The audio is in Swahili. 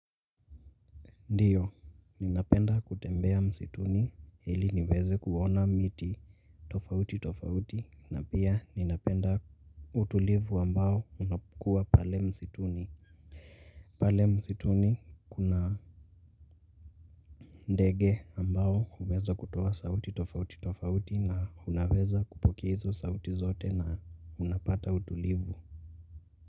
Ndiyo, ninapenda kutembea msituni ili niweze kuona miti tofauti tofauti na pia ninapenda utulivu ambao unakuwa pale msituni. Pale msituni kuna ndege ambao huweza kutoa sauti tofauti tofauti na unaweza kupokea hizo sauti zote na unapata utulivu.